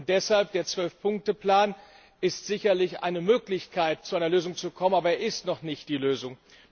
Deshalb Der Zwölf Punkte Plan ist sicherlich eine Möglichkeit, zu einer Lösung zu kommen, aber er ist noch nicht die Lösung.